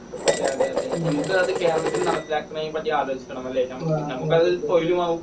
അതെ അതെ ഞമ്മക്ക് അത് കേരളത്തിൽ നടപ്പിലാക്കുന്നേനെ പറ്റി ആലോചിക്കണം അല്ലേ? ഞമ്മക്ക് ഞമ്മക്കത് തൊഴിലുമാകും